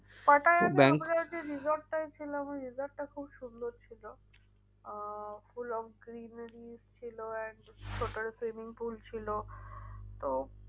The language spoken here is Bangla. যে resort টায় ছিলাম ওই resort টা খুব সুন্দর ছিল। আহ full on ছিল and swimming pool ছিল তো